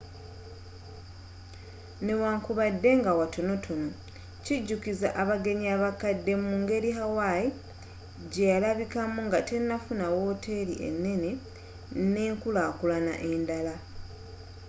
newankubadde nga watonotono kijukiza abagenyi abakadde mu ngeri hawaii gyeyalabikamu nga tenafuna woteri enene nenkulakulana enddala